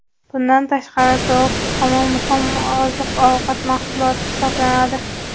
Bundan tashqari, tovuq tuxumi muhim oziq-ovqat mahsuloti hisoblanadi.